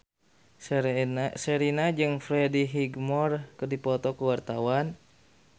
Sherina jeung Freddie Highmore keur dipoto ku wartawan